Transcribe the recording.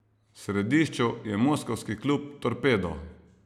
V središču je moskovski klub Torpedo.